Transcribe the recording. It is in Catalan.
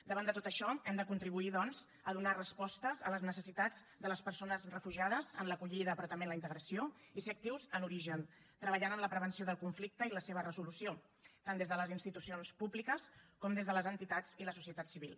davant de tot això hem de contribuir doncs a donar respostes a les necessitats de les persones refugiades en l’acollida però també en la integració i ser actius en origen treballant en la prevenció del conflicte i la seva resolució tant des de les institucions públiques com des de les entitats i la societat civil